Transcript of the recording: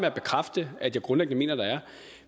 at bekræfte at jeg grundlæggende mener der er